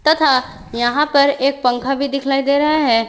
तथा यहां पर एक पंखा भी दिखलाई दे रहा है।